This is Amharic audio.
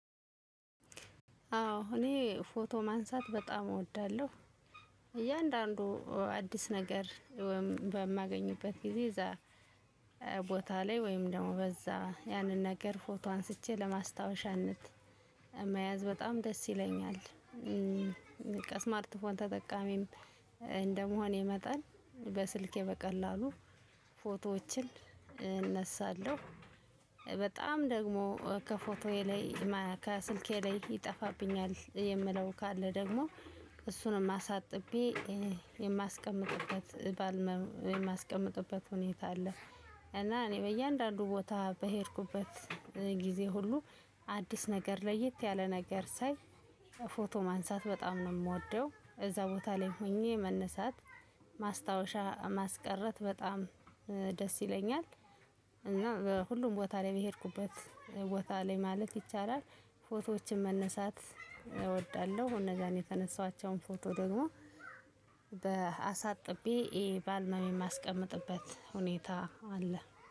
አዎ እኔ ፎቶ ማንሳት በጣም እወዳለሁ። እያንዳንዱ አዲስ ነገር በማገኝበት ጊዜ እዛ ቦታ ላይ ወይም ደግሞ በዛ ያንን ነገር ፎቶ አንስቼ ለማስታወሻነት መያዝ በጣም ደስ ይለኛል። ከስማርት ተጠቃሚም እንደመሆን መጠን በስልኬ በቀላሉ ፎቶዎችን እነሳለሁ። በጣም ደግሞ ከፎቶዬ ላይ ከስልኬ ላይ ይጠፋብኛል የምለው ካለ ደግሞ እሱንም አሳጥቤ የማስቀምጥበት ባል የማስቀምጥበት ሁኔታ አለ። እና እኔ በእያንዳንዱ ቦታ በሄድኩበት ጊዜ ሁሉ አዲስ ነገር ለየት ያለ ነገር ሳይ ፎቶ ማንሳት በጣም ነው የምወደው። አዛ ቦታ ላይ ሆኘ መነሳት ማስታወሻ ማስቀረት በጣም ደስ ይለኛል። እናም ሁሉም ቦታ በሄድኩበት ማለት ይቻላል ፎቶወችን መነሳት አወዳለሁ። እና አነዛ የተነሳሁአቸው ፎቶወች ደግሞ በአሳጥቤ ባልበሜ የማስቀምጥበት ሁኔታ አለ።